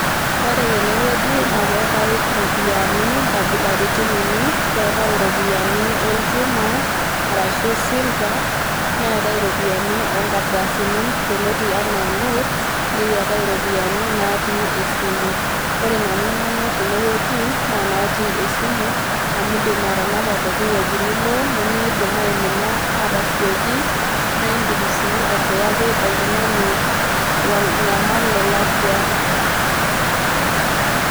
Ore tene wueji naake eetai iropiani nkabilaritin uni, keetai iropiani olchuma arashu silver, neetai iropiani o nkardasini yioloti enaa notes, neetai iropiani naatii esimu. Ore nanu nanyor tene wueji naa natii esimu amu indim atanapa pooki wueji nilo nemeidim aimina atasioki nae indim sii airiwaki oltung'ani lo lonyamal lolakwa.